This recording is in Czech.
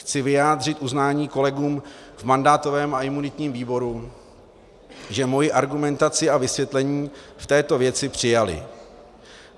Chci vyjádřit uznání kolegům v mandátovém a imunitním výboru, že moji argumentaci a vysvětlení v této věci přijali.